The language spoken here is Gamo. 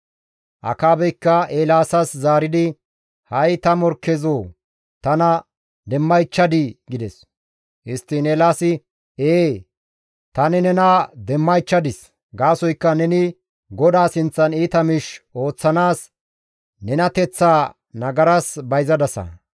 Akaabeykka Eelaasas zaaridi, «Ha7i ta morkkezoo tana demmaychchadii?» gides. Histtiin Eelaasi, «Ee, tani nena demmaychchadis; gaasoykka neni GODAA sinththan iita miish ooththanaas nenateththaa nagaras bayzadasa.